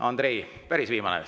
Andrei, päris viimane.